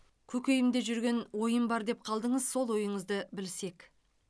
көкейімде жүрген ойым бар деп қалдыңыз сол ойыңызды білсек